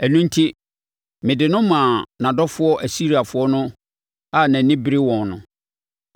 “Ɛno enti mede no maa nʼadɔfoɔ Asiriafoɔ no a nʼani bere wɔn no.